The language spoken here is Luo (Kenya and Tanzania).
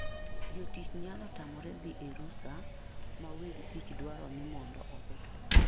Jotich nyalo tamore dhi e rusa ma weg tich dwaro ni mondo odhi.